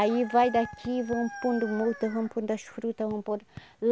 Aí vai daqui, vão pondo muda, vão pondo as frutas, vão pondo